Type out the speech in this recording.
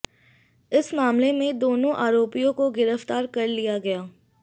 इस मामले में दोनों आरोपियों को गिरफ्तार कर लिया गया